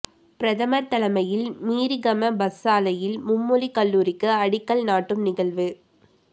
பிரதமர் தலைமையில் மீரிகம பஸ்யாலையில் மும்மொழிக் கல்லூரிக்கு அடிக்கல் நாட்டும் நகழ்வு